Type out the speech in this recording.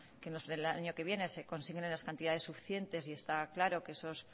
que en los de el año que viene se consignen las cantidades suficientes y está claro que esos